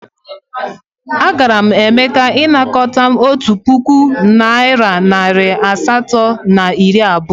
Agara m Emeka ịnakọta m otu puku naịra nari asatọ na iri abụọ.